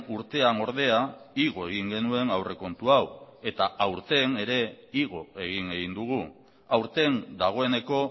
urtean ordea igo egin genuen aurrekontu hau eta aurten ere igo egin egin dugu aurten dagoeneko